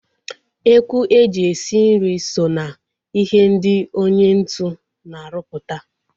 Ekwu e ji esi nri so ná ihe ndị onye ntu na aruputa